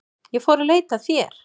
Ég fór að leita að þér.